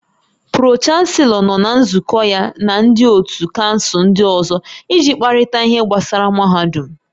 Pro-chanselọ nọ na nzukọ ya na ndị ótú kansụl ndị ọzọ iji kparịta ihe gbasara mahadum